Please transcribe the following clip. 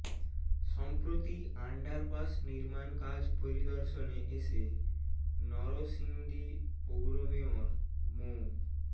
সম্প্রতি আন্ডারপাস নির্মাণ কাজ পরিদর্শনে এসে নরসিংদী পৌর মেয়র মো